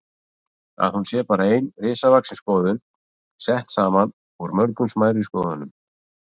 Að hún sé bara ein risavaxin skoðun, sett saman úr mörgum smærri skoðunum.